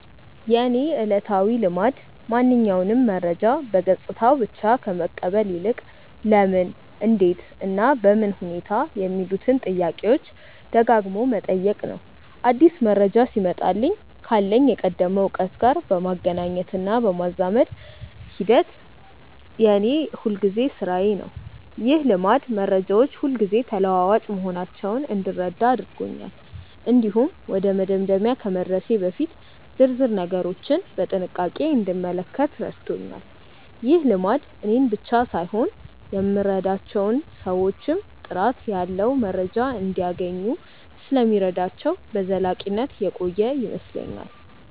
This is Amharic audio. የእኔ ዕለታዊ ልማድ ማንኛውንም መረጃ በገጽታው ብቻ ከመቀበል ይልቅ "ለምን? እንዴት? እና በምን ሁኔታ" የሚሉትን ጥያቄዎች ደጋግሞ መጠየቅ ነው። አዲስ መረጃ ሲመጣልኝ ካለኝ የቀደመ እውቀት ጋር የማገናኘትና የማዛመድ ሂደት የእኔ የሁልጊዜ ሥራዬ ነው። ይህ ልማድ መረጃዎች ሁልጊዜ ተለዋዋጭ መሆናቸውን እንድረዳ አድርጎኛል። እንዲሁም ወደ መደምደሚያ ከመድረሴ በፊት ዝርዝር ነገሮችን በጥንቃቄ እንድመለከት ረድቶኛል። ይህ ልማድ እኔን ብቻ ሳይሆን እኔ የምረዳቸውን ሰዎችም ጥራት ያለው መረጃ እንዲያገኙ ስለሚረዳቸው በዘላቂነት የቆየ ይመስለኛል።